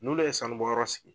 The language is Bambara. N'ulu ye sanu bɔyɔrɔ sigi